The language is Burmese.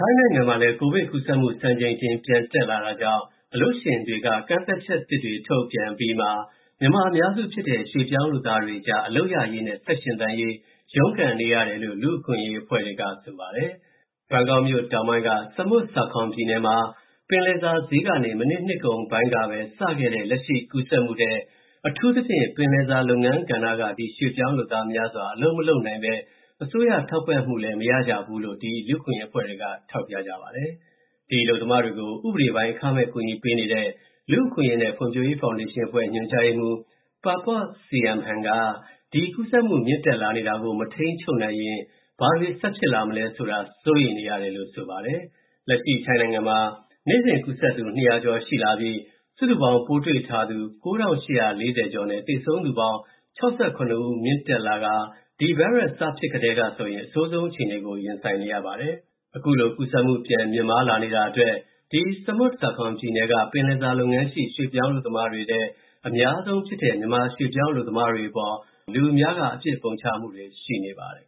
ိုင်းနိုင်ငံမှာ ကိုဗစ်ပိုးကူးစက်မှု စံချိန်တင် ပြန်တက်လာတာကြောင့် အလုပ်ရှင်တွေက ကန့်သတ်ချက်သစ်တွေ ထုတ်ပြန်အပြီးမှာ မြန်မာအများစုဖြစ်တဲ့ ရွှေ့ပြောင်းလုပ်သားတွေအကြား အလုပ်ရရေးနဲ့ ဆက်ရှင်သန်နိုင်ရေး ရုန်းကန်နေရတယ်လို့ လူ့အခွင့်အရေးအဖွဲ့တွေက ဆိုပါတယ်။ ဘန်ကောက်မြို့တောင်ပိုင်းက Samut Sakhon ပြည်နယ်မှာ ပင်လယ်စာဈေးကနေ မနှစ် နှစ်ကုန်ပိုင်းကစခဲ့တဲ့ လက်ရှိကူးစက်မှုထဲ အထူးသဖြင့် ပင်လယ်စာလုပ်ငန်းကဏ္ဍက ဒီရွှေ့ပြောင်းလုပ်သားများစွာ အလုပ်မလုပ်နိုင်ဘဲ အစိုးရထောက်ပံ့မှုလည်း မရကြဘူးလို့ လူ့အခွင့်အရေးအဖွဲ့တွေက ဆိုပါတယ်။ ဒီအလုပ်သမားတွေကို ဥပဒေပိုင်း အခမဲ့ကူညီပေးနေတဲ့ လူ့အခွင့်အရေးနဲ့ ဖွံ့ဖြိုးရေးဖောင်ဒေးရှင်းအဖွဲ့ ညွှန်ကြားရေးမှူး Papop Saimhan က ဒီကူးစက်မှု မြင့်တက်လာနေတာကို မထိန်းချုပ်နိုင်ရင် ဘာတွေဆက်ဖြစ်လာမလဲဆိုတာ စိုးရိမ်နေတယ်လို့ ပြောလိုက်ပါတယ်။ လက်ရှိ ထိုင်းနိုင်ငံမှာ နေ့စဉ်ကူးစက်သူ ၂၀၀ ကျော်ရှိလာပြီး စုစုပေါင်း ပိုးတွေ့ထားသူ ၉,၈၄၀ ကျော်နဲ့ သေဆုံးသူပေါင်း ၆၇ ဦး မြင့်တက်လာကာ ဒီဗိုင်းရပ်စ် စဖြစ်ကတည်းကဆိုရင် အဆိုးဆုံးအခြေအနေကို ရင်ဆိုင်နေရပါတယ်။ အခုလို ကူးစက်မှု ပြန်မြင့်မားလာနေတာအတွက် Samut Sakhon ပြည်နယ်က ပင်လယ်စာလုပ်ငန်းရှိ ရွှေ့ပြောင်းအလုပ်သမားတွေထဲ အများဆုံးဖြစ်တဲ့ မြန်မာရွှေ့ပြောင်းအလုပ်သမားတွေအပေါ် လူအများက အပြစ်ပုံချမှုတွေ ရှိနေပါတယ်